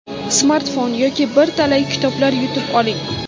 smartfon yoki bir talay kitoblar yutib oling!.